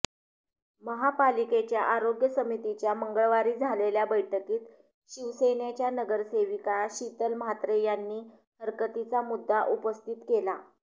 महापालिकेच्या आरोग्य समितीच्या मंगळवारी झालेल्या बैठकीत शिवसेनेच्या नगरसेविका शीतल म्हात्रे यांनी हरकतीचा मुद्दा उपस्थित केला